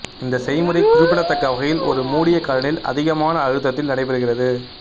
இந்த செய்முறை குறிப்பிடத்தக்க வகையில் ஒரு மூடிய கலனில் அதிகமான அழுத்தத்தில் நடைபெறுகிறது